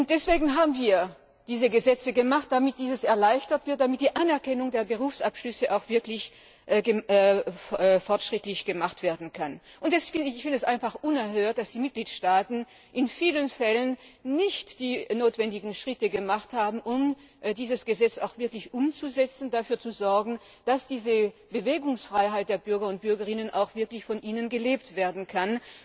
Deswegen haben wir diese Gesetze gemacht, damit dies erleichtert wird, damit die Anerkennung der Berufsabschlüsse auch wirklich fortschrittlich gemacht werden kann. Ich finde es einfach unerhört, dass die Mitgliedstaaten in vielen Fällen nicht die notwendigen Schritte unternommen haben, um dieses Gesetz auch wirklich umzusetzen und so dafür zu sorgen, dass diese Bewegungsfreiheit der Bürgerinnen und Bürger auch wirklich von ihnen gelebt werden kann.